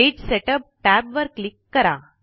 page setup tab वर click करा